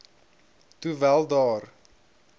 toe wel daar